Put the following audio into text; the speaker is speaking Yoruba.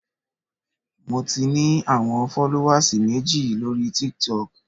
Mo ti ní àwọn fọ́lówàs méjì lóri Tiktok.